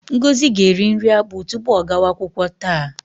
Ngozi ga-eri nri akpụ tupu ọ gawa akwụkwọ taa.